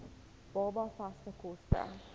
baba vaste kos